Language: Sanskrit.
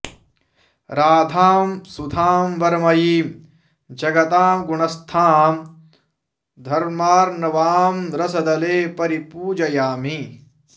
राधां सुधां वरमयीं जगतां गुणस्थां धर्मार्णवां रसदले परिपूजयामि